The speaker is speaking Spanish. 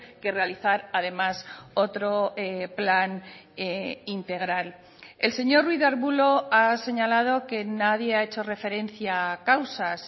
que realizar además otro plan integral el señor ruiz de arbulo ha señalado que nadie ha hecho referencia a causas